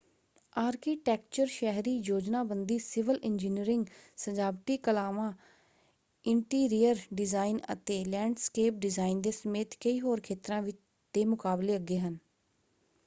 Architecture ਸ਼ਹਿਰੀ ਯੋਜਨਾਬੰਦੀ civil engineering ਸਜਾਵਟੀ ਕਲਾਵਾਂ ਇੰਟੀਰੀਅਰ ਡਿਜ਼ਾਇਨ ਅਤੇ ਲੈਂਡਸਕੇਪ ਡਿਜ਼ਾਇਨ ਦੇ ਸਮੇਤ ਕਈ ਹੋਰ ਖੇਤਰਾਂ ਦੇ ਮੁਕਾਬਲੇ ਅੱਗੇ ਹੈ।